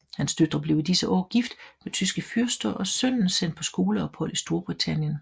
Hans døtre blev i disse år gift med tyske fyrster og sønnen sendt på skoleophold i Storbritannien